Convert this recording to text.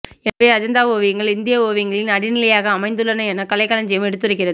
எனவே அஜந்தா ஓவியங்கள் இந்திய ஓவியங்களின் அடிநிலையாக அமைந்துள்ளன எனக் கலைக்களஞ்சியம் எடுத்துரைக்கிறது